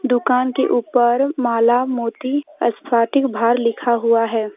दुकान के ऊपर माला मोती स्फटिक भार लिखा हुआ है।